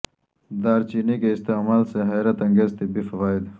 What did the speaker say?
دار چینی کے استعمال سے حیر ت انگیز طبی فوا ئد